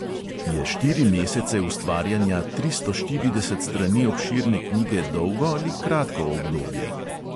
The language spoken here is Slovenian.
Je štiri mesece ustvarjanja tristo štirideset strani obširne knjige dolgo ali kratko obdobje?